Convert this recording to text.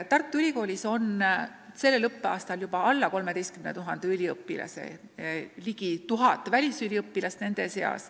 Tartu Ülikoolis on sellel õppeaastal juba alla 13 000 üliõpilase, nende seas on ligi 1000 välisüliõpilast.